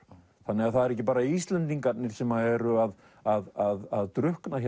þannig að það eru ekki bara Íslendingarnir sem eru að að drukkna